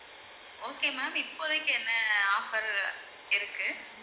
okay ma'am இப்போதைக்கு என்ன offer இருக்கு